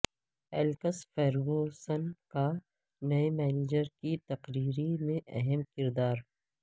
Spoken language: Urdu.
ایلکس فرگوسن کا نئےمینیجر کی تقرری میں اہم کردار